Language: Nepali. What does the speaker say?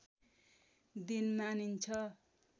दिन मानिन्छ